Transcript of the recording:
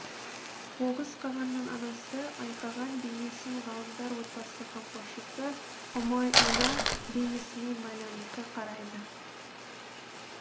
оғыз қағанның анасы айқаған бейнесін ғалымдар отбасы қамқоршысы ұмай ана бейнесімен байланыста қарайды